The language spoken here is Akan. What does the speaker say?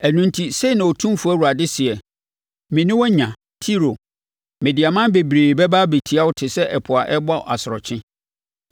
Ɛno enti, sei na Otumfoɔ Awurade seɛ: Me ne wo anya Tiro, mede aman bebree bɛba abɛtia wo te sɛ ɛpo a ɛrebɔ nʼasorɔkye.